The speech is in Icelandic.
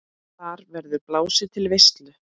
Þar verður blásið til veislu.